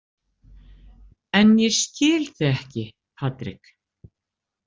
En ég skil þig ekki, Patrik.